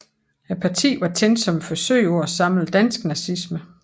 Partiet var tænkt som et forsøg på at samle dansk nazisme